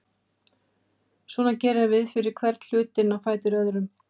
Svona gerum við fyrir hvern hlutinn á fætur öðrum.